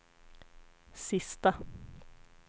sista